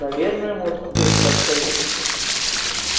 наверное можно поискать совет